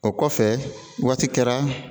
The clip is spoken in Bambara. O kɔfɛ waati kɛra